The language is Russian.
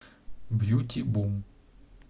бьюти бум